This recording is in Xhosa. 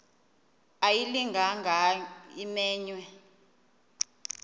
ayilinga gaahanga imenywe